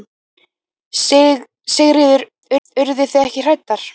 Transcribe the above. Sigríður: Urðu þið ekki hræddar?